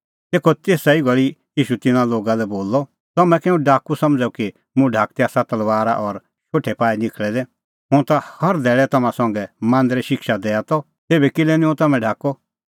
तेखअ तेसा ई घल़ी ईशू तिन्नां लोगा लै बोलअ तम्हैं कै हुंह डाकू समझ़अ कि मुंह ढाकदै आसा तलबारा और शोठै पाई निखल़ै दै हुंह ता हर धैल़ै तम्हां संघा मांदरै शिक्षा दैआ त तेभै किल्है निं हुंह तम्हैं ढाकअ